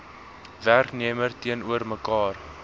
werknemer teenoor mekaar